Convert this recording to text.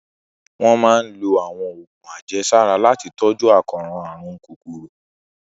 Wọ́n máa ń lo àwọn oògùn àjẹsára láti tọ́jú àkóràn àrùn kòkòrò